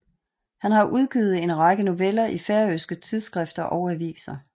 Han har udgivet en række noveller i færøske tidsskrifter og aviser